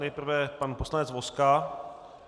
Nejprve pan poslanec Vozka.